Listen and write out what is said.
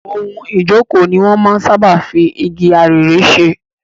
Ohun ìjókòó ni wọn máa ń sáábà fi igi arère ṣe.